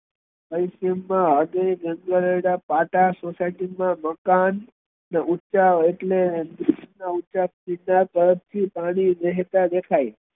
પાટા society મા મકાન ને ઊંચા એટલે પાણી વેહતા દેખાય